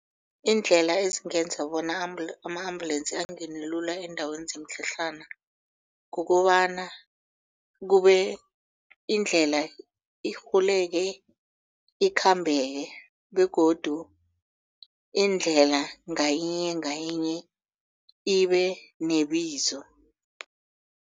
Iindlela ezingenza bona ama-ambulance angene lula eendaweni zemitlhatlhana kukobana kube indlela irhuleke ikhambeke begodu indlela ngayinye ngayinye ibe nebizo.